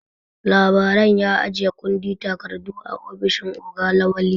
Labaran ya ajiye kundin takardu a ofishin oga Lawali.